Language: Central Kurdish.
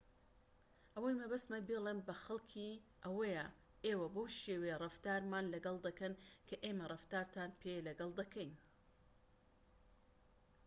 ئەوەی مەبەستمە بیڵێم بە خەڵكی ئەوەیە ئێوە بەو شێوەیە ڕەفتارمان لەگەڵ دەکەن کە ئێمە ڕەفتارتان پێ لەگەڵ دەکەین